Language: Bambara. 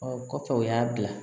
Ɔ kɔfɛ u y'a bila